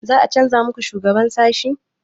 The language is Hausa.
Za a canza muku shugaban sashi?